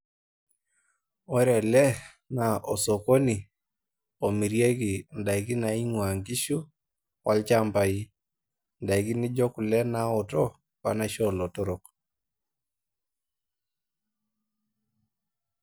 Ore ele naa osokini omirieki ndaikin naingwaa nkishu olchambai. Ndaikin naijo kule naotok , wenaisho olotorok .